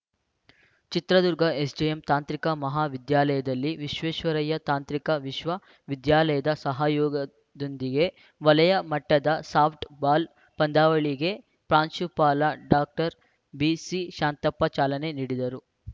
Chitradurga SJM ತಾಂತ್ರಿಕ ಮಹಾವಿದ್ಯಾಲಯದಲ್ಲಿ ವಿಶ್ವೇಶ್ವರಯ್ಯ ತಾಂತ್ರಿಕ ವಿಶ್ವವಿದ್ಯಾಲಯದ ಸಹಯೋಗದೊಂದಿಗೆ ವಲಯ ಮಟ್ಟದ ಸಾಫ್ಟ್‌ಬಾಲ್‌ ಪಂದ್ಯಾವಳಿಗೆ ಪ್ರಾಂಶುಪಾಲ ಡಾಕ್ಟರ್ ಬಿಸಿ ಶಾಂತಪ್ಪ ಚಾಲನೆ ನೀಡಿದರು